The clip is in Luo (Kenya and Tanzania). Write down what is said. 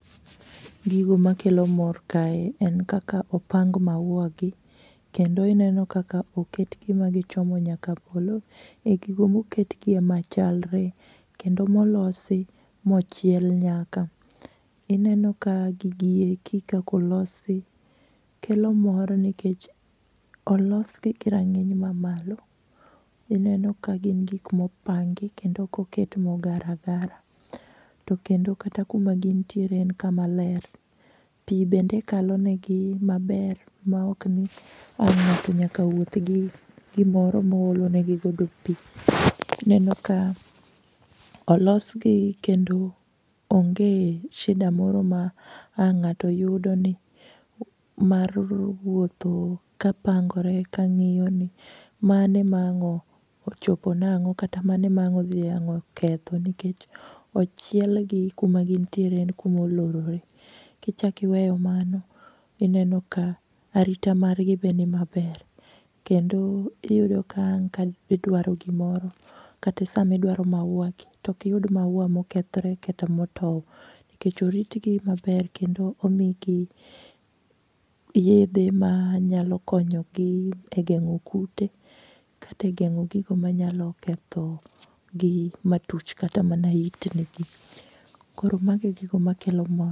Gigo makelo mor kae en kaka opang maua gi kendo ineno kaka oketgi ma gichomo nyaka polo e gigo moketgie machalre kendo molosi mochiel nyaka. Ineno ka gigi eki kakolosi kelo mor nikech olosgi gi rang'iny mamalo. Ineno ka gin gik mopangi kendo okoket mogar agara. To kendo kata kuma gintiere en kuma ler. Pii bende kalonegi maber maokni ang' ng'ato nyaka wuothgi gimoro moolonegigo pii. Ineno ka olosgi kendo onge shida moro ma ang' ng'ato yudo ni mar wuotho kapangore kang'iyoni mane mang'ochopo nang'o kata mane mang' dhiang' oketho nikech ochielgi kuma gintiere en kuma olorore. Kichakiweyo mano, ineno ka arita margi be ni maber kendo iyudo ka ang' giduaro gimoro kata samiduaro maua gi to okiyud maua mokethre kata motou nikech oritgi maber kendo omigi yedhe manyalo konyogi e geng'o kute kata e geng'o gigo manyalo kethogi matuch katamana itnigi. Koromago e gigo makelo mor.